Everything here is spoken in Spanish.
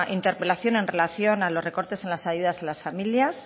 interpelación en relación a los recortes en las ayudas a las familias